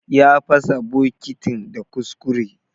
Ya pasa bokitin da kuskure.